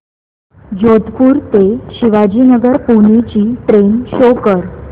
जोधपुर ते शिवाजीनगर पुणे ची train show कर